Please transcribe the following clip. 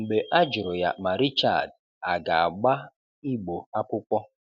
Mgbe a jụ̀rụ̀ ya ma Richard a ga-àgbá Igbo ákwụ́kwọ̀